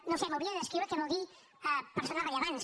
no ho sé m’hauria de descriure què vol dir persones rellevants